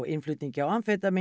innflutningi á